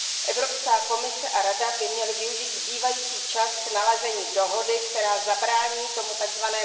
Evropská komise a Rada by měly využít zbývající čas k nalezení dohody, která zabrání tomu tzv.